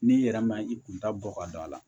N'i yɛrɛ ma i kun ta bɔ ka don a la